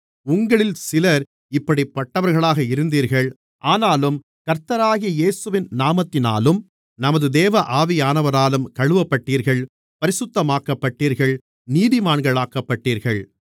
உங்களில் சிலர் இப்படிப்பட்டவர்களாக இருந்தீர்கள் ஆனாலும் கர்த்தராகிய இயேசுவின் நாமத்தினாலும் நமது தேவ ஆவியானவராலும் கழுவப்பட்டீர்கள் பரிசுத்தமாக்கப்பட்டீர்கள் நீதிமான்களாக்கப்பட்டீர்கள்